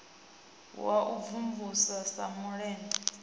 wa u mvumvusa sa malende